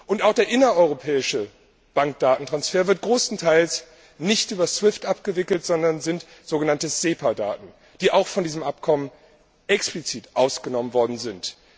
Und auch der innereuropäische Bankdatentransfer wird größtenteils nicht über SWIFT abgewickelt, sondern es handelt sich dabei um so genannte SEPA Daten, die auch von diesem Abkommen explizit ausgenommen worden sind.